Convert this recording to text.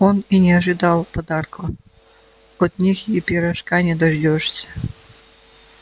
он и не ожидал подарка от них и пирожка не дождёшься